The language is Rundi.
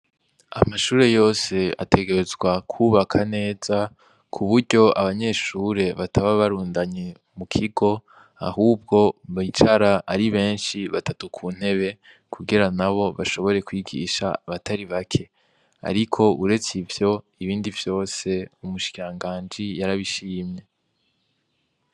Amashure yose ategerezwa kubaka neza, kuburyo abanyeshure bataba barundanye mu kigo, ahubwo bicara ari benshi batatu kuntebe, kugira nabo bashobora kwigisha abatari bake, ariko uretse ivyo ibindi vyose umushikiranganji yarabishimye.